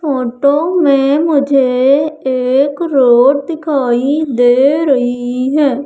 Photo में मुझे एक रोड दिखाई दे रही है।